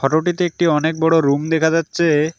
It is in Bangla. একটি অনেক বড় রুম দেখা যাচ্ছে।